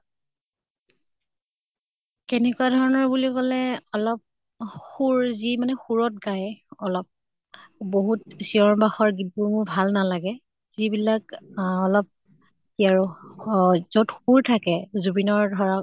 কেনেকুৱা ধৰণৰ বুলি কʼলে অলপ সুৰ, যি মানে সুৰত গাই অলপ । বহুত চিঞৰ বাখৰ গীত বোৰ মোৰ ভাল নালাগে । যি বিলাক আ অলপ কি আৰু সুৰ থাকে, জুবিনৰ ধৰক